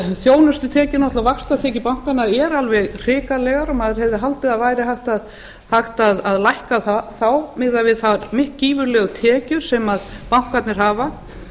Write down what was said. þjónustutekjur og náttúrlega vaxtatekjur bankanna eru alveg hrikalegar og maður hefði haldið að hægt væri að lækka þá miðað við þær gífurlegu tekjur sem bankarnir hafa